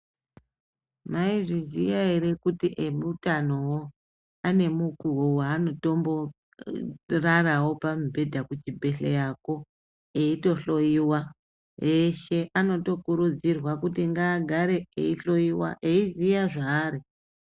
Mwaizviziya ere kuti emutano wo, ane mukuwo weanoto mborarawo pamubhedha kuchibhedhleyako, eitohloiwa, eshe anotokurudzirwa kuti ngaagare eitohloiwa eiziya zvaari.